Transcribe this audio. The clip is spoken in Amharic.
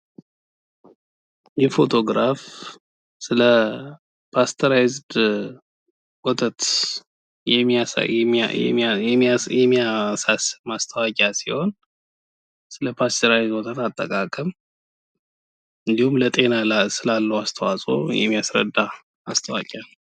ይህ ፎቶግራፍ ስለፓስቸራይዝድ የሚያሳይ የሚያሳስብ ማስታወቂያ ሲሆን ስለፓስቸራይዝድ ወተት አጠቃቀም እንዲሁም በጤና ላይ ስላለው አስተዋፅኦ የሚያስረዳ ነው::